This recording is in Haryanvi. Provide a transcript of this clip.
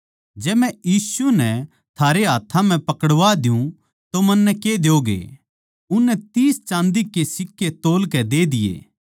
जै मै यीशु नै थारे हाथ्थां म्ह पकड़वा दियुँ तो मन्नै के द्योगे उननै तीस चाँदी के सिक्के तौलकै दे दिये